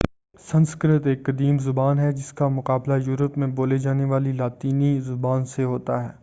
سنسکرت ایک قدیم زبان ہے جس کا مقابلہ یورپ میں بولی جانے والی لاطینی زبان سے ہوتا ہے